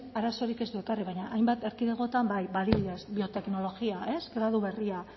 arazorik ez du ekarri baina hainbat erkidegotan bai ba adibidez bioteknologia gradu berria